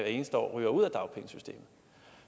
eneste år ryger ud af dagpengesystemet